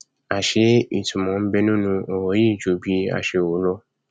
àṣé ìtunmọ nbẹ nínú ọrọ yìí ju bí a ṣe rò lọ